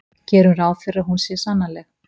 Gerum fyrst ráð fyrir að hún sé sannanleg.